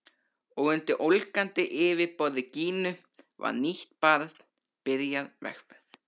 Og undir ólgandi yfirborði Gínu var nýtt barn byrjað vegferð.